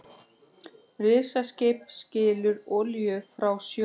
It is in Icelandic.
Risaskip skilur olíu frá sjó